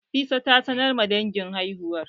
Nafisa ta sanar ma dangin haihuwar